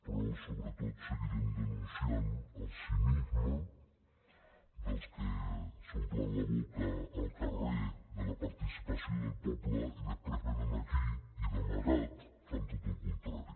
però sobretot seguirem denunciant el cinisme dels que s’omplen la boca al carrer de la participació del poble i després vénen aquí i d’amagat fan tot el contrari